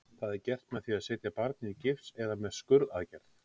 Það er gert með því að setja barnið í gifs eða með skurðaðgerð.